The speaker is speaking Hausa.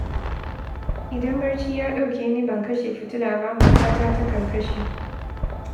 Idan barci ya ɗauke ni ban kashe fitila ba, matata takan kashe